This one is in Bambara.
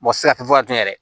Mɔgɔ tɛ se ka tun yɛrɛ